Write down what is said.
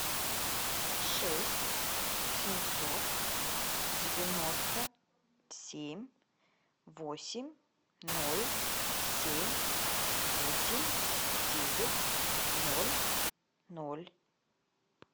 шесть семьсот девяносто семь восемь ноль семь восемь девять ноль ноль